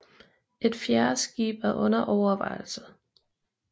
Et fjerde skib er under overvejelse